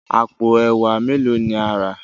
àpò ẹwà melo ní a rà?